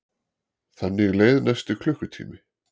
Þannig leið næsti klukkutími.